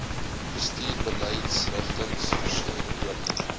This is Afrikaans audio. bestuursbeleidsrigtings verskyn ook